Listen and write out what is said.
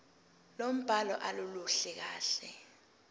lombhalo aluluhle kahle